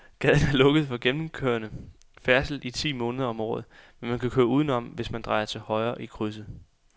Gaden er lukket for gennemgående færdsel ti måneder om året, men man kan køre udenom, hvis man drejer til højre i krydset.